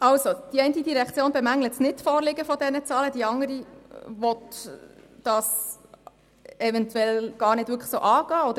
Die eine Direktion bemängelt das Nichtvorliegen dieser Zahlen, während die andere Direktion dies eventuell gar nicht wirklich angehen will.